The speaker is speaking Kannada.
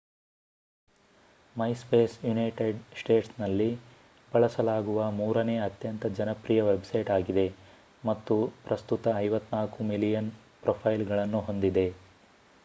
ಮೈಸ್ಪೇಸ್ ಯುನೈಟೆಡ್ ಸ್ಟೇಟ್ಸ್ನಲ್ಲಿ ಬಳಸಲಾಗುವ ಮೂರನೇ ಅತ್ಯಂತ ಜನಪ್ರಿಯ ವೆಬ್‌ಸೈಟ್ ಆಗಿದೆ ಮತ್ತು ಪ್ರಸ್ತುತ 54 ಮಿಲಿಯನ್ ಪ್ರೊಫೈಲ್‌ಗಳನ್ನು ಹೊಂದಿದೆ